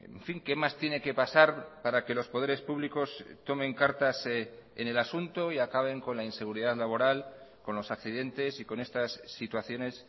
en fin qué más tiene que pasar para que los poderes públicos tomen cartas en el asunto y acaben con la inseguridad laboral con los accidentes y con estas situaciones